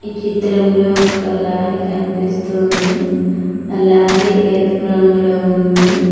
ఈ చిత్రంలో ఒక లారీ కనిపిస్తూ ఉంది ఆ లారీ ఎరుపు రంగులో ఉంది.